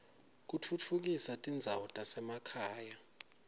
kutfutfukisa tindzawo tasemakhaya